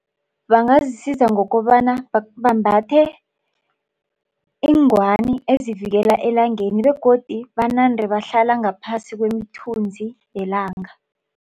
Bangazisiza ngokobana bambathe iingwani ezivikela elangeni begodu banande bahlala ngaphasi kwemithunzi yelanga.